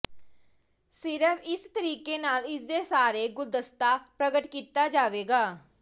ਸਿਰਫ਼ ਇਸ ਤਰੀਕੇ ਨਾਲ ਇਸ ਦੇ ਸਾਰੇ ਗੁਲਦਸਤਾ ਪ੍ਰਗਟ ਕੀਤਾ ਜਾਵੇਗਾ